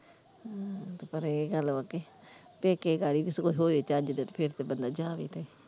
ਪਰ ਇਹ ਗੱਲ ਵਾ ਕੇ, ਪੇਕੇ ਹੋਵੇ ਚੱਜ ਦੇ ਤੇ ਫਿਰ ਤੇ ਬੰਦਾ ਜਾਵੇ ਤੇ।